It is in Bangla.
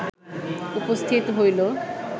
উপস্থিত হইল